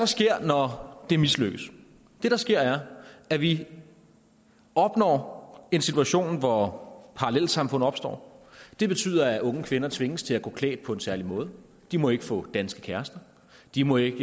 sker når det mislykkes det der sker er at vi opnår en situation hvor parallelsamfund opstår det betyder at unge kvinder tvinges til at gå klædt på en særlig måde de må ikke få danske kærester de må ikke